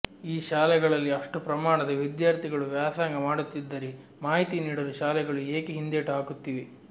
ಈ ಶಾಲೆಗಳಲ್ಲಿ ಅಷ್ಟು ಪ್ರಮಾಣದ ವಿದ್ಯಾರ್ಥಿಗಳು ವ್ಯಾಸಂಗ ಮಾಡುತ್ತಿದ್ದರೆ ಮಾಹಿತಿ ನೀಡಲು ಶಾಲೆಗಳು ಏಕೆ ಹಿಂದೇಟು ಹಾಕುತ್ತಿವೆ